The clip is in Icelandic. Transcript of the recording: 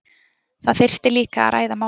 Það þyrfti líka að ræða málin